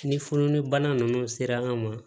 Ni fununi bana nunnu sera an ma